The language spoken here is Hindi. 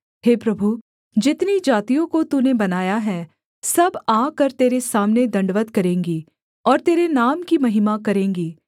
हे प्रभु जितनी जातियों को तूने बनाया है सब आकर तेरे सामने दण्डवत् करेंगी और तेरे नाम की महिमा करेंगी